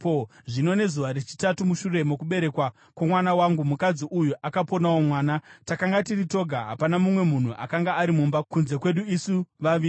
Zvino nezuva rechitatu mushure mokuberekwa kwomwana wangu, mukadzi uyu akaponawo mwana. Takanga tiri toga; hapana mumwe munhu akanga ari mumba kunze kwedu isu vaviri.